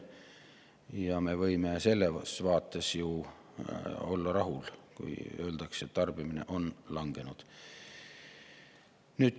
Ja me võime selles vaates ju olla rahul, kui öeldakse, et tarbimine on langenud.